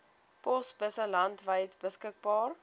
posbusse landwyd beskikbaar